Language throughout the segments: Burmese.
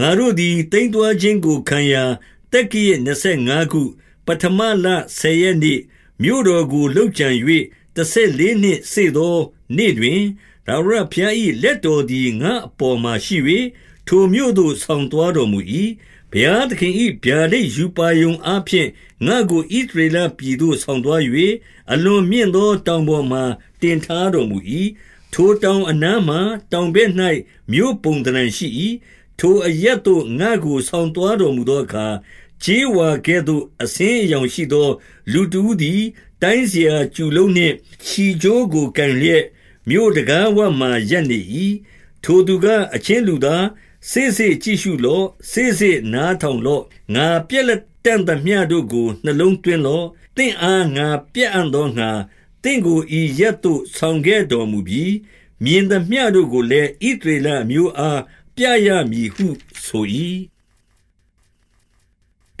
ငါတို့သည် သိမ်းသွားခြင်းကိုခံရာ သက္ကရာဇ် နှစ်ဆယ်ငါးခု၊ ပဌမလဆယ်ရက်နေ့၊ မြို့တော်ကို လုပ်ကြံ ၍၊ တဆယ်လေးနှစ်စေ့သောနေ့ တွင်၊ ထာဝရဘုရား၏ လက်တော်သည် ငါ့အပေါ်မှာရှိ၍ ထိုမြို့သို့ဆောင် သွားတော်မူ၏။ 2 ဘုရားသခင်၏ ဗျာဒိတ်ရူပါရုံအားဖြင့် ငါ့ကို ဣသရေလပြည်သို့ ဆောင်သွား၍၊ အလွန်မြင့်သော တောင်ပေါ်မှာ တင်ထားတော်မူ၏။ ထိုတောင်အနားမှာ တောင်ဘက်၌မြို့ပုံသဏ္ဌာန်ရှိ၏။ 3 ထိုအရပ်သို့ ငါ့ကိုဆောင်သွားတော်မူသောအခါ၊ ကြေးဝါကဲ့သို့ အဆင်းအရောင်ရှိသော လူတဦးသည် တိုင်းစရာ ကျူလုံးနှင့်ချည်ကြိုးကို ကိုင်လျက်မြို့တံခါးဝမှာ ရပ်နေ၏။ 4 ထိုသူက၊ အချင်းလူသား၊ စေ့စေ့ကြည့်ရှုလော့။ စေ့စေ့နားထောင်လော့။ ငါပြလတံ့သမျှတို့ကို နှလုံးသွင်း လော့။ သင့်အား ငါပြအံ့သောငှါ သင့်ကိုဤအရပ်သို့ ဆောင်ခဲ့တော်မူပြီ၊ မြင်သမျှတို့ကိုလည်း ဣသရေလ အမျိုးအားပြရမည်ဟုဆို၏။ 5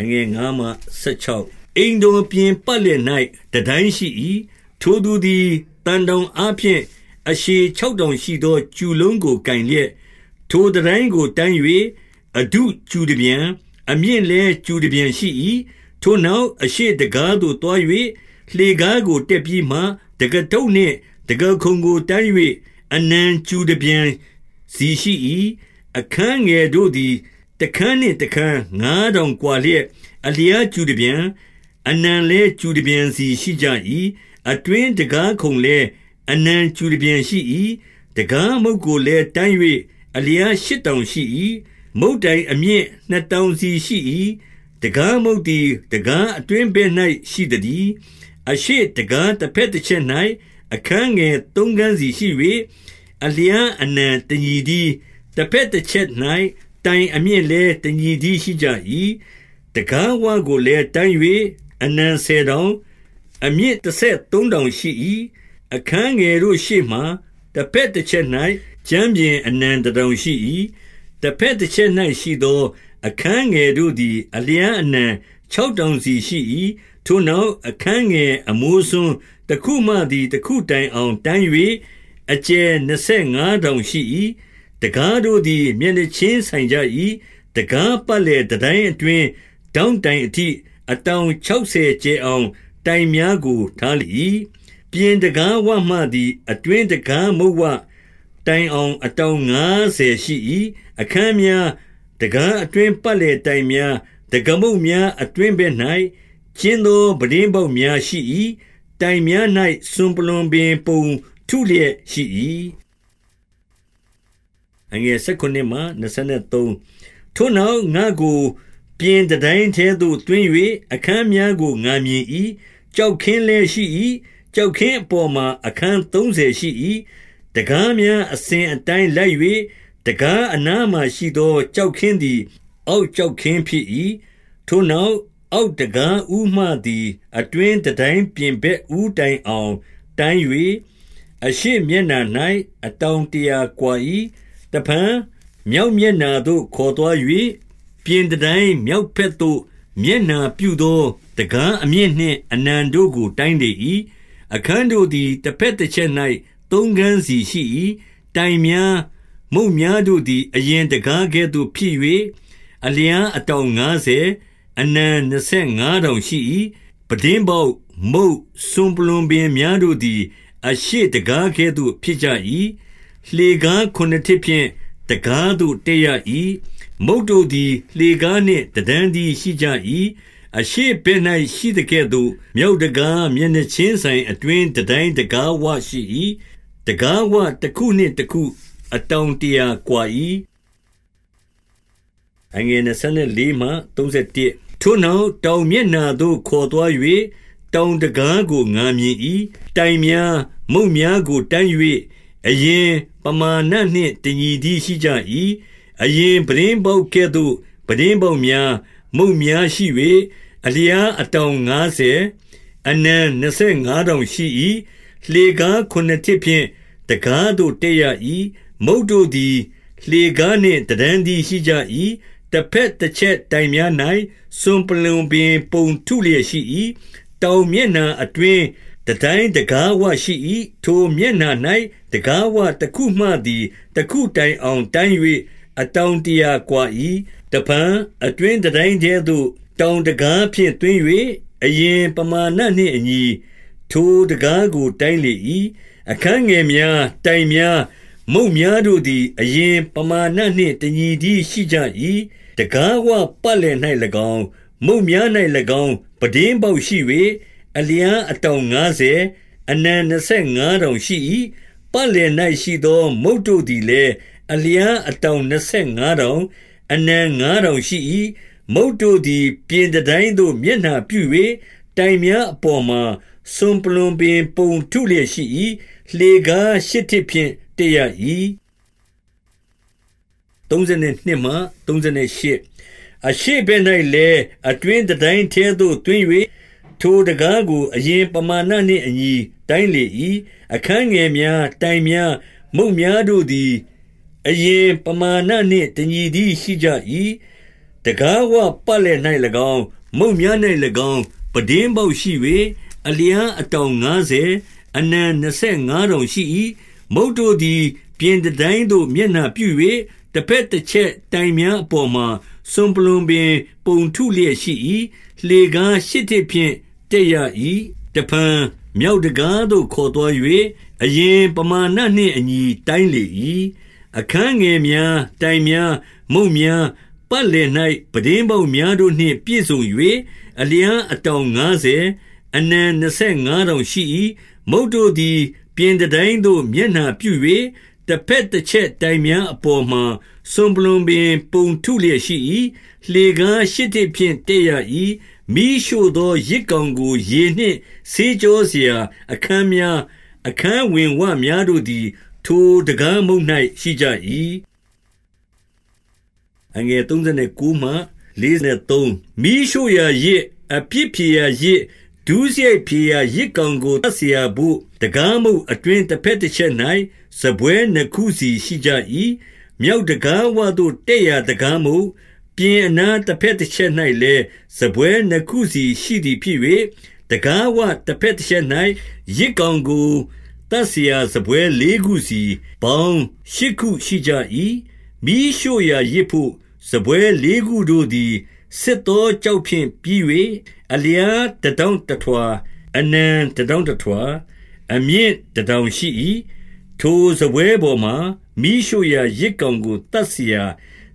အိမ်တော်ပြင်ပတ်လည်၌ တန်တိုင်းရှိ၏။ ထိုသူသည် သံတောင်အားဖြင့် အရှည်ခြောက်တောင် ရှိသော ကျူလုံးကို ကိုင်လျက်၊ ထိုတန်တိုင်းကိုတိုင်း၍ အထုကျူတပြန်၊ အမြင့်လည်း ကျူတပြန်ရှိ၏။ 6 ထိုနောက်၊ အရှေ့တံခါးသို့သွား၍ လှေကားကို တက်ပြီးမှ၊ တံခါးထုပ်နှင့် တံခါးခုံကိုတိုင်း၍ အနံ ကျူတပြန်စီရှိ၏။ 7 အခန်းငယ်တို့သည် တခန်းနှင့်တခန်း ငါး တောင်ကွာလျက် အလျားကျူတပြန်၊ အနံလည်း ကျူတပြန်စီရှိကြ၏။ 8 အတွင်းတံခါးခုံလည်း အနံကျူတပြန်ရှိ၏။ 9 တံခါးမုတ်ကိုလည်း တိုင်း၍အလျားရှစ်တောင် ရှိ၏။ မုတ်တိုင်အမြင့် နှစ်တောင်စီရှိ၏။ တံခါးမုတ်သည် တံခါးအတွင်းဘက်၌ ရှိသတည်း။ 10 အရှေ့တံခါး တဘက်တချက်၌ အခန်းငယ် သုံးခန်းစီရှိ၍၊ အလျားအနံတညီတည်း၊ တဘက်တချက်၌ တိုင်အမြင့်လည်း တညီတည်းရှိကြ၏။ 11 တံခါးဝကိုလည်းတိုင်း၍ အနံဆယ်တောင်၊ အမြင့်တဆယ်သုံးတောင်ရှိ၏။ 12 အခန်းငယ်တို့ရှေ့မှာ တဘက်တချက်၌ ကြမ်း ပြင်အနံတတောင်ရှိ၏။ တဘက်တချက်၌ရှိသော အခန်းငယ်တို့သည် အလျားအနံခြောက်တောင်စီရှိ၏။ 13 ထိုနောက်၊ အခန်းငယ်အမိုးစွန်းတခုမှသည် တခုတိုင်အောင် တိုင်း၍အကျယ်နှစ်ဆယ်ငါးတောင်ရှိ၏။ တံခါးတို့သည် မျက်နှာချင်းဆိုင်ကြ၏။ 14 တံခါးပတ်လည် တန်တိုင်းအတွင်း၊ ထောင့်တိုင် အထိ၊ အတောင်ခြောက်ဆယ်ကျယ်အောင် တိုင်များကို ထားလေ၏။ 15 ပြင်တံခါးဝမှသည် အတွင်းတံခါးမုတ်ဝတိုင် အောင် အတောင်ငါးဆယ်ရှိ၏။ 16 အခန်းများ၊ တံခါးအတွင်းပတ်လည်တိုင်များ၊ တံခါးမုတ်များ အတွင်းဘက်၌ ကျဉ်းသောပြတင်းပေါက် များရှိ၏။ တိုင်များ၌စွနပလွပင်ပုံထုလျက်ရှိ၏။ 17 ထိုနောက်၊ ငါ့ကိုပြင်တန်တိုင်းထဲသို့ သွင်း၍ အခန်းများကို ငါမြင်၏။ ကျောက်ခင်းလည်းရှိ၏။ ကျောက်ခင်းအပေါ်မှာ အခန်းသုံးဆယ် ရှိ၏။ 18 တံခါးများအစဉ်အတိုင်းလိုက်၍၊ တံခါးအနားမှာ ရှိသော ကျောက်ခင်းသည် အောက်ကျောက်ခင်းဖြစ်၏။ 19 ထိုနောက်၊ အောက်တံခါးဦးမှသည် အတွင်း တန်းတိုင်းပြင်ဘက် ဦးတိုင်အောင်တိုင်း၍၊ အရှေ့မျက်နှာ ၌ အတောင်တရာကွာ၏။ 20 တဖန်မြောက်မျက်နှာသို့ ခေါ်သွား၍၊ ပြင် တန်တိုင်းမြောက်ဘက်သို့ မျက်နှာပြုသောတံခါးအမြင့်နှင့် အနံကိုတိုင်းလေ၏။ 21 အခန်းတို့သည် တဘက်တချက်၌ သုံးခန်းစီ ရှိ၏။ တိုင်များ၊ မုတ်များတို့သည် အရင်တံခါးကဲ့သို့ဖြစ်၍၊ အလျားအတောင်ငါးဆယ်၊ အနံနှစ်ဆယ်ငါးတောင်ရှိ၏။ 22 ပြတင်းပေါက်၊ မုတ်၊ စွန်ပလွံပင်များတို့သည် အရှေ့တံခါးကဲ့သို့ ဖြစ်ကြ၏။ လှေကားခုနစ်ထစ်ဖြင့် တံခါးသို့တက်ရ၏။ မုတ်တို့သည် လှေကားနှင့် တတန်း တည်း ရှိကြ၏။ 23 အရှေ့ဘက်၌ရှိသကဲ့သို့ မြောက်တံခါး မျက်နှာ ချင်းဆိုင်အတွင်း တန်တိုင်းတံခါးဝရှိ၏။ တံခါဝတခုနှင့် တခု အတောင်တရာကွာ၏။ 24 ထိုနောက်၊ တောင်မျက်နှာသို့ခေါ်သွား၍ တောင်တံခါးကို ငါမြင်၏။ တိုင်များ၊ မုတ်များကိုတိုင်း၍ အရင်ပမာဏနှင့်တညီတည်း ရှိကြ၏။ 25 အရင်ပြတင်းပေါက်ကဲ့သို့ ပြတင်းပေါက်များ၊ မုတ်များရှိ၍၊ အလျားအတောင်ငါးဆယ်၊ အနံနှစ်ဆယ်ငါး တောင်ရှိ၏။ 26 လှေကား ခုနစ်ထစ်ဖြင့် တံခါးသို့တက်ရ၏။ မုတ်တို့သည် လှေကားနှင့် တတန်းတည်းရှိကြ၏။ တဘက်တချက်တိုင်များ၌ စွန်ပလွံပင်ပုံ ထုလျက်ရှိ၏။ 27 တောင်မျက်နှာ၌ အတွင်းတန်တိုင်တံခါးဝရှိ၏။ ထိုမျက်နှာ၌ တံခါးဝတခုမှသည် တခုတိုင်အောင်တိုင်း၍ အတောင်တရာကွား၏။ 28 တဖန်အတွင်းတန်တိုင်းထဲသို့တောင် တံခါးဖြင့် သွင်း၍၊ အရင် ပမာဏနှင့်အညီ ထိုတံခါးကိုတိုင်းလေ၏။ 29 အခန်းငယ်များ၊ တိုင်များ၊ မုတ်များတို့သည် အရင်ပမာဏနှင့်တညီတည်း ရှိကြ၏။ တံခါးဝပတ်လည် ၌၎င်း၊ မုတ်များ၌၎င်းပြတင်းပေါက်ရှိ၍၊ အလျားအတောင် ငါးဆယ်၊ အနံနှစ်ဆယ်ငါးတောင်ရှိ၏။ 30 ပတ်လည်၌ရှိသော မုတ်တို့သည်လည်း အလျား အတောင်နှစ်ဆယ်ငါးတောင်၊ အနံငါးတောင်ရှိ၏။ 31 မုတ်တို့သည် ပြင်တန်တိုင်သို့မျက်နှာပြု၍၊ တိုင် များအပေါ်မှာ စွန်ပလွံပင်ပုံ ထုလျက်ရှိ၏။ လှေကား ရှစ်ထစ်ဖြင့်တက်ရ၏။ 32 အရှေ့ဘက်၌လည်း အတွင်းတန်တိုင်းထဲသို့ သွင်း၍၊ ထိုတံခါးကို အရင်ပမာဏနှင့်အညီ တိုင်းလေ၏။ 33 အခန်းငယ်များ၊ တိုင်များ၊ မုတ်များတို့သည် အရင်ပမာဏနှင့် တညီတည်းရှိကြ၏။ တံခါးဝပတ်လည် ၌၎င်း၊ မုတ်များ၌၎င်း ပြတင်းပေါက်ရှိ၍၊ အလျား အတောင်ငါးဆယ်၊ အနံနှစ်ဆယ်ငါးတောင်ရှိ၏။ 34 မုတ်တို့သည် ပြင်တန်တိုင်သို့ မျက်နှာပြု၍၊ တဘက်တချက်တိုင်များပေါ်မှာစွန်ပလွံပင် ပုံထုလျက် ရှိ၏။ လှေကားရှစ်ထစ်ဖြင့် တက်ရ၏။ 35 တဖန် မြောက်တံခါးသို့ ခေါ်သွား၍ အရင် ပမာဏနှင့်အညီ တိုင်းလေ၏။ 36 အခန်းငယ်များတိုင်များ၊ မုတ်များ၊ ပတ်လည်၌ ပြတင်းပေါက်များတို့နှင့် ပြည့်စုံ၍၊ အလျာအတောင် ငါးဆယ်၊ အနံနှစ်ဆယ်ငါးတောင်ရှိ၏။ 37 မုတ်တို့သည် ပြင်တန်တိုင်းသို့မျက်နှာပြု၍၊ တဘက်တချက်တိုင်များအပေါ်မှာ စွန်ပလွံပင်ပုံ ထုလျက် ရှိ၏။ လှေကားရှစ်ထစ်ဖြင့်တက်ရ၏။ 38 မီးရှို့သော ယဇ်ကောင်ကိုရေနှင့် ဆေးကြော စရာအခန်းများ၊ အခန်းဝင်ဝများတို့သည် ထိုတံခါးမုတ်၌ ရှိကြ၏။ 39 မီးရှို့ရာယဇ်၊ အပြစ်ဖြေရာယဇ်၊ ဒုစရိုက်ဖြေရာ ယဇ်ကောင်ကို သတ်စရာဘို့၊ တံခါးမုတ်အတွင်း တဘက် တချက်၌ စာပွဲနှစ်ခုစီရှိကြ၏။ 40 မြောက်တံခါးဝသို့ တက်ရာတံခါးမုတ်၊ ပြင် အနားတဘက်တချက်၌လည်း စားပွဲနှစ်ခုစီရှိသည်ဖြစ်၍၊ 41 တံခါးဝတဘက်တချက်၌ ယဇ်ကောင်ကို သတ်စရာစားပွဲလေးခုစီ၊ ပေါင်းရှစ်ခုရှိကြ၏။ 42 မီးရှို့ရာယဇ်ဘို့ စားပွဲလေးခုတို့သည် ဆစ်သော ကျောက်ဖြင့်ပြီး၍၊ အလျားတတောင်တထွာ၊ အနံ တတောင်တထွာ၊ အမြင့်တတောင်ရှိ၏။ ထို စားပွဲပေါ်မှာ မီးရှို့ရာယဇ်ကောင်ကို သတ်စရာ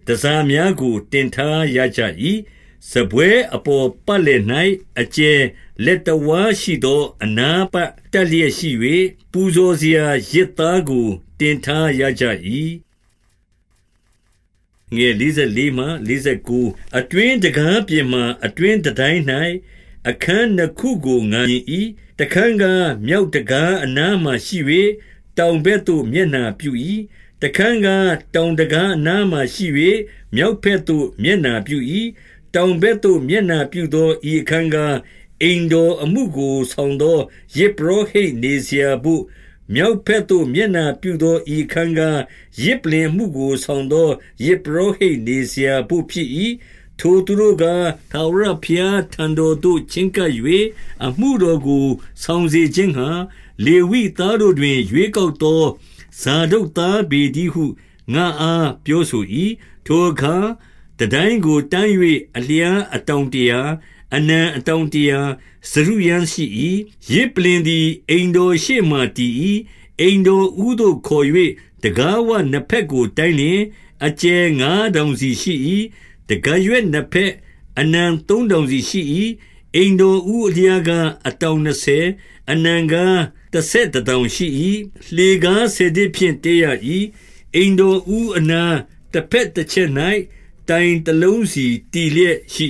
တန်ဆာများကို တင်ထားရကြ၏။ 43 စားပွဲအပေါ်ပတ်လည်၌ အကျယ်လက်တဝါး ရှိသော အနားပတ် တပ်လျက်ရှိ၍၊ ပူဇော်စရာယဇ်သား ကို တင်ထားရကြ၏။ 44 အတွင်းတံခါးပြင်မှာ အတွင်းတန်တိုင်း၌ အခန်း နှစ်ခုကို ငါမြင်၏။ တခန်းကား၊ မြောက်တံခါးအနားမှာ ရှိ၍ တောင်ဘက်သို့ မျက်နှာပြု၏။ တခန်းကား၊ တောင် တံခါးအနားမှာရှိ၍ မြောက်ဘက်သို့ မျက်နှာပြု၏။ 45 တောင်ဘက်သို့မျက်နှာပြုသော ဤအခန်းကား၊ အိမ်တော် အမှုကိုဆောင်သော ယဇ်ပုရောဟိတ် နေစရာ ဘို့၊ 46 မြောက်ဘက်သို့မျက်နှာပြုသော ဤအခန်းကား၊ ယဇ်ပုလ္လင်အမှုကို ဆောင်သောယဇ်ပုရောဟိတ် နေစရာ ဘို့ဖြစ်၏။ ထိုသူတို့ကား၊ ထာဝရဘုရားထံတော်သို့ ချဉ်းကပ်၍ အမှုတော်ကို ဆောင်စေခြင်းငှါ၊ လေဝိသား တို့တွင် ရွေးကောက်သောဇာဒုတ်သားပေတည်းဟု ငါ့အား ပြောဆို၏။ 47 ထိုအခါ တန်တိုင်းကိုတိုင်း၍ အလျားအတောင် တရာ၊ အနံအတောင်တရာ စတုရန်းရှိ၏။ ယဇ်ပလ္လင် သည် အိမ်တော်ရှေ့မှာ တည်၏။ 48 အိမ်တော်ဦးသို့ခေါ်၍ တံခါးဝနှစ်ဘက်ကို တိုင်းလျှင်၊ အကျယ်ငါးတောင်စီရှိ၏။ တံခါးရွက်နှစ်ဘက်၊ အနံသုံးတောင်စီရှိ၏။ 49 အိမ်တော်ဦးအလျားကား အတောင်နှစ်ဆယ်၊ အနံကားတဆယ်တတောင်ရှိ၏။ လှေကားဆယ်ထစ်ဖြင့် တက်ရ၏။ အိမ်တော်ဦအနား၊ တဘက်တချက်၌ တိုင်တလုံးစီတည်လျက်ရှိ